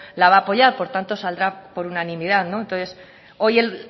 la va a apoyar por tanto saldrá por unanimidad entonces hoy el